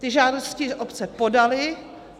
Ty žádosti obce podaly.